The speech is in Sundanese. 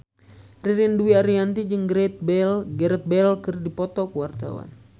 Ririn Dwi Ariyanti jeung Gareth Bale keur dipoto ku wartawan